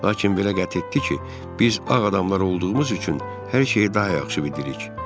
Lakin belə qəti etdi ki, biz ağ adamlar olduğumuz üçün hər şeyi daha yaxşı bilirik.